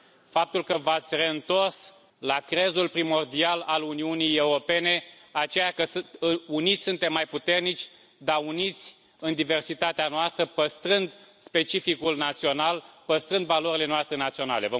Faptul că v ați reîntors la crezul primordial al Uniunii Europene, acela că uniți suntem mai puternici, dar uniți în diversitatea noastră, păstrând specificul național, păstrând valorile noastre naționale.